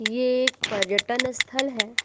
ये एक पर्यटन स्थल है।